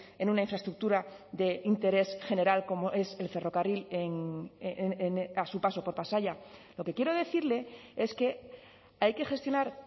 en una infraestructura de interés general como es el ferrocarril a su paso por pasaia lo que quiero decirle es que hay que gestionar